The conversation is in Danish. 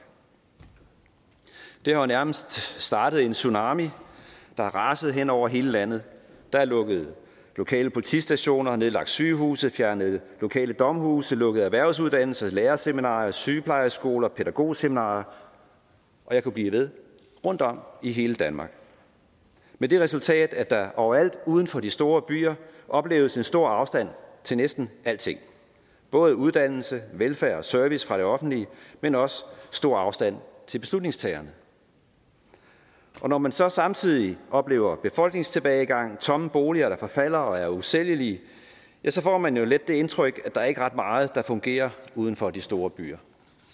det har jo nærmest startet en tsunami der har raset hen over hele landet der er lukket lokale politistationer nedlagt sygehuse fjernet lokale domhuse lukket erhvervsuddannelser lærerseminarier sygeplejeskoler pædagogseminarier og jeg kunne blive ved rundtom i hele danmark med det resultat at der overalt uden for de store byer opleves en stor afstand til næsten alting både uddannelse velfærd og service fra det offentlige men også stor afstand til beslutningstagerne og når man så samtidig oplever befolkningstilbagegang tomme boliger der forfalder og er usælgelige ja så får man jo let det indtryk at der ikke er ret meget der fungerer uden for de store byer